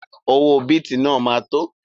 Owó bìtì náà ma tó